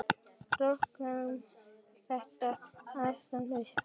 Rokkum þetta aðeins upp!